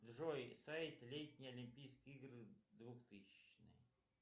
джой сайт летние олимпийские игры двухтысячные